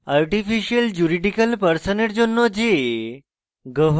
artificial juridicial person জন্য j